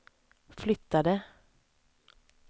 flyttade